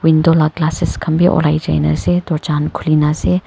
window la glasses khanbi ulaijaina ase doorga khan khulina ase.